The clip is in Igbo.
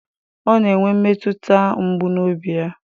Ọ na-enwe mmetụta mgbu n'obi ya